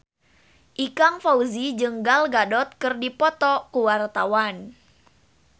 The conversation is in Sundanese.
Ikang Fawzi jeung Gal Gadot keur dipoto ku wartawan